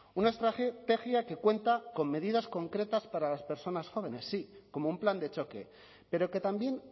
una estrategia que cuenta con medidas concretas para las personas jóvenes sí como un plan de choque pero que también